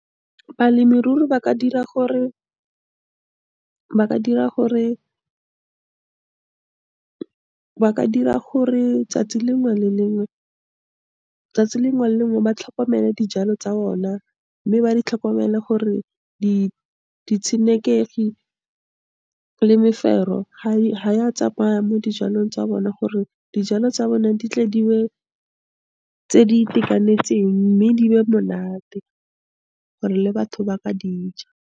Balemirui, ba ka dira gore, ba ka dira gore tsatsi lengwe le lengwe ba tlhokomele dijalo tsa bona, mme ba di tlhokomele gore di, ditshenekegi le mefero ha ya tsamaya mo dijalong tsa bona gore dijalo tsa bone di tle di be tse di itekanetseng mme di be monate, gore le batho ba ka dija.